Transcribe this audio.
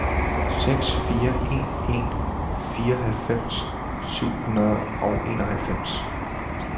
seks fire en en fireoghalvfems syv hundrede og enoghalvfems